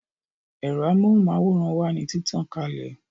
Ẹ̀rọ amóhùn máwòrán wà ní títàn kalè